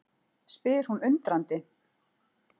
spyr hún undrandi.